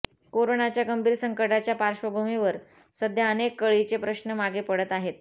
कोरोनाच्या गंभीर संकटाच्या पार्श्वभूमीवर सध्या अनेक कळीचे प्रश्न मागे पडत आहेत